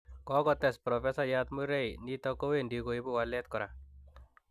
Kokotes Profesayat Murray:Nitok ko wendi koibu walet kora.